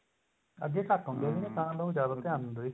ਅੱਗੇ ਘੱਟ ਹੁੰਦੇ ਸੀ ਤਾਂ ਲੋਕ ਜਿਆਦਾ ਧਿਆਨ ਦਿੰਦੇ ਸੀ